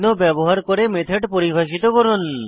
চিহ্ন ব্যবহার করে মেথড পরিভাষিত করুন